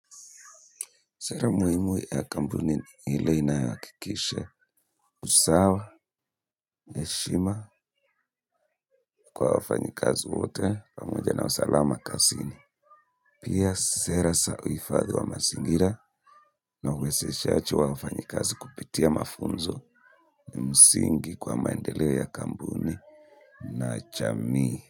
Sera muhimu ya kampuni ni ile inayoakikisha usawa heshima kwa wafanyikazi wote pamoja na usalama kasini. Pia sera sa uifadhi wa masingira na uwezeshachi wa wafanyikazi kupitia mafunzo ni msingi kwa maendeleo ya kambuni na chamii.